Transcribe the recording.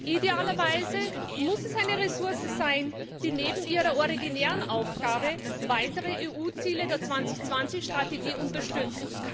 Idealerweise muss es eine Ressource sein, die neben ihrer originären Aufgabe weitere EU Ziele der 2020 Strategie unterstützt.